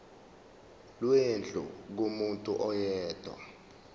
lwendlu kumuntu oyedwa